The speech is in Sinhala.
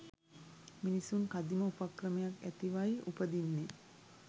මිනිසුන් කදිම උපක්‍රමයක් ඇතිවයි උපදින්නෙ.